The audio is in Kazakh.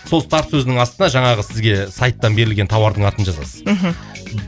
сол старт сөзінің астына жаңағы сізге сайттан берілген тауардың атын жазасыз мхм